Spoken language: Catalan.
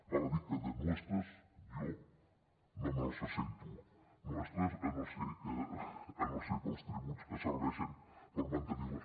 val a dir que de nuestras jo no me les sento nuestras si no és pels tributs que serveixen per mantenir les